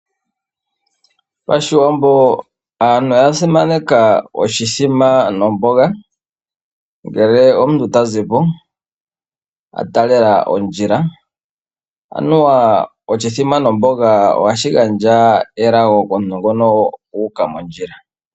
PaShiwambo aantu oya simaneka oshithima nomboga ngele omuntu ta zi po a taalela ondjila, anuwa oshithima nomboga ohashi gandja elago komuntu ngono u uka mondjila.